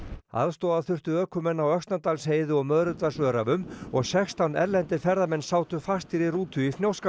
aðstoða þurfti ökumenn á Öxnadalsheiði og Möðrudalsöræfum og sextán erlendir ferðamenn sátu fastir í rútu í Fnjóskadal